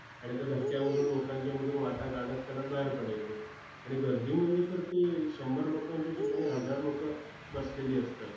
आणि त्या धक्क्यांमधून, लोकांच्या मधून वाटा काढत काढत बाहेर पडायचं. आणि गर्दी म्हणजे तर ती, शंभर लोकांच्या ठिकाणी हजार लोकं बसलेली असतात.